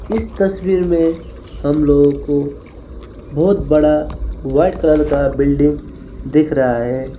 इस तस्वीर में हम लोगों को बहुत बड़ा व्हाइट कलर का बिल्डिंग दिख रहा है।